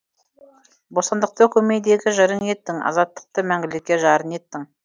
бостандықты көмейдегі жырың еттің азаттықты мәңгілікке жарын еттің